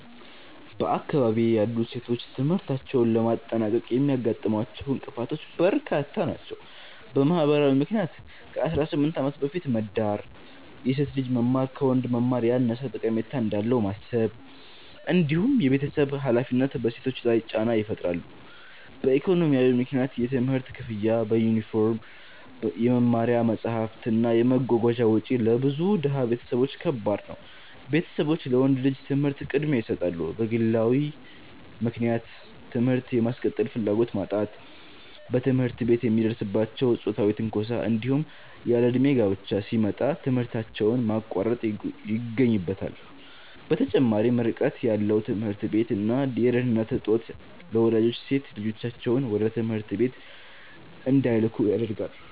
በአካባቢዬ ያሉ ሴቶች ትምህርታቸውን ለማጠናቀቅ የሚያጋጥሟቸው እንቅፋቶች በርካታ ናቸው። በማህበራዊ ምክንያት ከ18 ዓመት በፊት መዳር፣ የሴት ልጅ መማር ከወንድ መማር ያነሰ ጠቀሜታ እንዳለው ማሰብ፣ እንዲሁም የቤተሰብ ሃላፊነት በሴቶች ላይ ጫና ይፈጥራሉ። በኢኮኖሚያዊ ምክንያት የትምህርት ክፍያ፣ የዩኒፎርም፣ የመማሪያ መጽሐፍት እና የመጓጓዣ ወጪ ለብዙ ድሃ ቤተሰቦች ከባድ ነው፤ ቤተሰቦች ለወንድ ልጅ ትምህርት ቅድሚያ ይሰጣሉ። በግለዊ ምክንያት ትምህርት የማስቀጠል ፍላጎት ማጣት፣ በትምህርት ቤት የሚደርስባቸው ጾታዊ ትንኮሳ፣ እንዲሁም ያለእድሜ ጋብቻ ሲመጣ ትምህርታቸውን ማቋረጥ ይገኙበታል። በተጨማሪም ርቀት ያለው ትምህርት ቤት እና የደህንነት እጦት ለወላጆች ሴት ልጆቻቸውን ወደ ትምህርት ቤት እንዳይልኩ ያደርጋል።